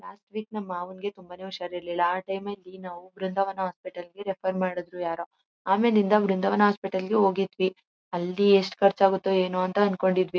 Last week ನಮ್ಮ್ ಮಾವಂಗೆ ತುಂಬಾನೇ ಹುಷಾರಿರಲಿಲ್ಲ. ಆ ಟೈಮ್ ನಲ್ಲಿ ನಾವು ಬೃಂದಾವನ ಹಾಸ್ಪಿಟಲ್ ಗೆ ರೆಫರ್ ಮಾಡಿದ್ರು ಯಾರೋ . ಆಮೇಲಿಂದ ವೃಂದಾವನ ಹಾಸ್ಪಿಟಲ್ ಗೆ ಹೋಗಿದ್ವಿ. ಅಲ್ಲಿ ಎಷ್ಟು ಖರ್ಚು ಆಗುತ್ತೋ ಏನೋ ಅಂದ್ಕೊಂಡಿದ್ವಿ.